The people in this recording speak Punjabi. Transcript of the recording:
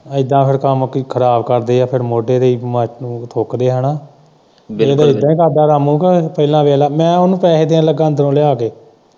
ਏਦਾ ਫੇਰ ਕੋਈ ਕੰਮ ਖਰਾਬ ਕਰਦੇ ਏ ਫੇਰ ਮੋਢੇ ਤੇ ਹੀ ਤੰਬਾਕੂ-ਤੰਬੂਕੂ ਥੁੱਕਦੇ ਏ ਤੇਰੇ ਕੋਲ਼ ਇਹਦੇ ਕਰਦਾ ਰਾਮੂ ਕ ਪਹਿਲਾਂ ਵੇਖ ਲੈ ਮੈਂ ਉਹਨੂੰ ਪੈਸੇ ਦੇਣ ਲੱਗਾ ਅੰਦਰੋਂ ਲਿਆ ਕੇ।